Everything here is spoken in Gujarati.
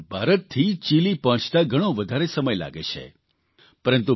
ચીલે ભારતથી ચીલી પહોંચતા ઘણો વધારે સમય લાગે છે